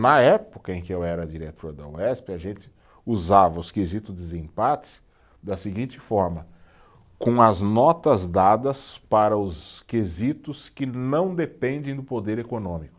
Na época em que eu era diretor da Uesp, a gente usava os quesitos desempates da seguinte forma, com as notas dadas para os quesitos que não dependem do poder econômico.